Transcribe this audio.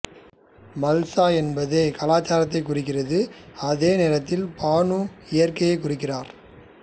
மல்சா என்பது கலாச்சாரத்தை குறிக்கிறது அதே நேரத்தில் பானுஇயற்கையைக் குறிக்கிறார்